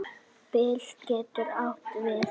Bil getur átt við